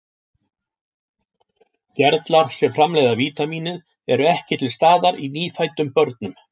Gerlar sem framleiða vítamínið eru ekki til staðar í nýfæddum börnum.